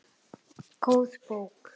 Góð bók.